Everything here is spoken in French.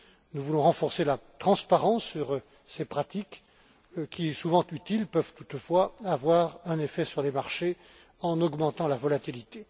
Nous voulons renforcer la transparence sur ces pratiques qui, souvent utiles, peuvent toutefois avoir un effet sur les marchés en augmentant la volatilité.